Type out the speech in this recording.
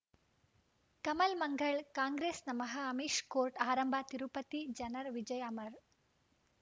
ಕಮಲ್ ಮಂಗಳ್ ಕಾಂಗ್ರೆಸ್ ನಮಃ ಅಮಿಷ್ ಕೋರ್ಟ್ ಆರಂಭ ತಿರುಪತಿ ಜನರ ವಿಜಯ ಅಮರ್